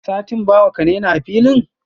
satin bawa, kanaina a filin?